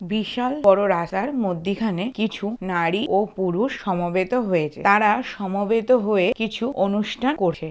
বিশাল বড় রাস্তার মধ্যিখানে কিছু নারী ও পুরুষ সমবেত হয়েছে। তারা সমবেত হয়ে কিছু অনুষ্ঠান করছে।